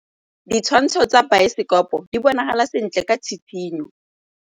Ditshwantshô tsa biosekopo di bonagala sentle ka tshitshinyô.